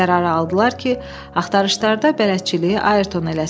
Qərarı aldılar ki, axtarışlarda bələdçiliyi Ayrton eləsin.